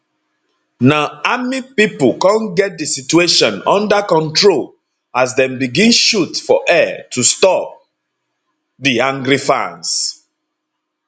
na army pipo come get di situation unda control as dem begin shoot for air to stop di angry fans